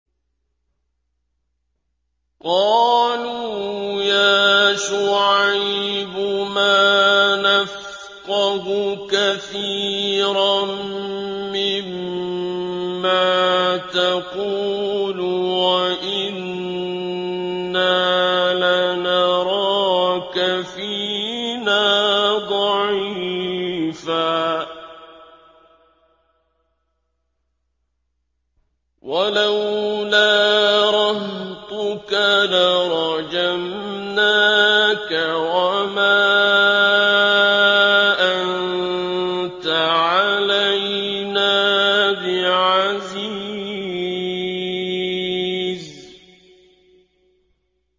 قَالُوا يَا شُعَيْبُ مَا نَفْقَهُ كَثِيرًا مِّمَّا تَقُولُ وَإِنَّا لَنَرَاكَ فِينَا ضَعِيفًا ۖ وَلَوْلَا رَهْطُكَ لَرَجَمْنَاكَ ۖ وَمَا أَنتَ عَلَيْنَا بِعَزِيزٍ